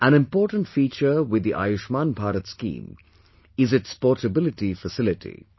An important feature with the 'Ayushman Bharat' scheme is its portability facility